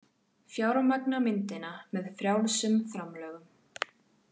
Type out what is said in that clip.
Fjármagna myndina með frjálsum framlögum